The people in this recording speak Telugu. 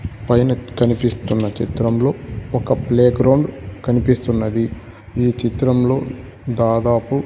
పైన కనిపిస్తున్న చిత్రంలో ఒక ప్లే గ్రౌండ్ కనిపిస్తున్నది ఈ చిత్రంలో దాదాపు--